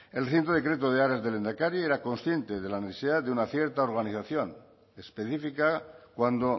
el reciente decreto de áreas del lehendakari era consciente de la necesidad de una cierta organización específica cuando